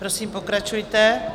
Prosím, pokračujte.